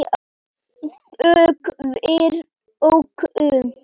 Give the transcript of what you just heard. Þökk fyrir okkur.